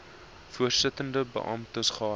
voorsittende beamptes gaan